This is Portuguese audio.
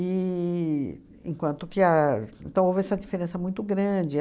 enquanto que a... Então, houve essa diferença muito grande.